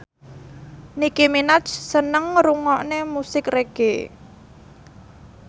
Nicky Minaj seneng ngrungokne musik reggae